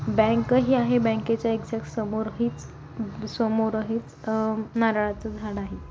Bank ही आहे बँकेचा एकक्साक्ट समोर हीच समोर हीच अ नारळाच झाड आहे.